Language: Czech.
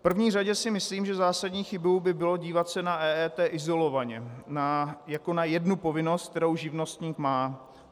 V první řadě si myslím, že zásadní chybou by bylo dívat se na EET izolovaně jako na jednu povinnost, kterou živnostník má.